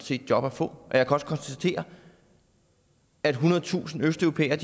set job at få og jeg kan også konstatere at ethundredetusind østeuropæere